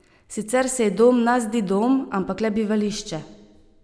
Sicer se ji dom na zdi dom, ampak le bivališče.